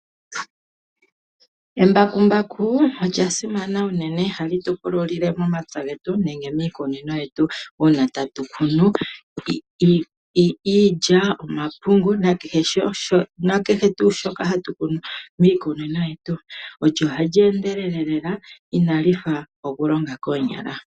Embakumbaku olya simana unene. Ohali tu pululile momapya getu nenge miikunino yetu uuna tatu kunu iilya, omapungu nakehe tuu shoka hatu kunu miikunino yetu. Ohali endelele lela inali fa okulonga koonyala.